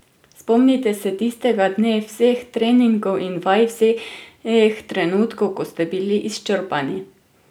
Spomnite se tistega dne, vseh treningov in vaj, vseh trenutkov, ko ste bili izčrpani!